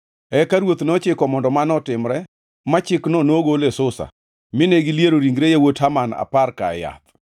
Eka ruoth nochiko mondo mano otimre ma chikno nogol e Susa, mine giliero ringre yawuot Haman apar-ka e yath.